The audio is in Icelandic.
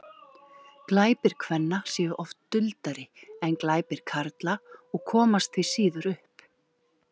glæpir kvenna séu oft duldari en glæpir karla og komast því síður upp